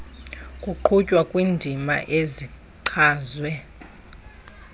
kuqhutywa kwiindima ezichazwe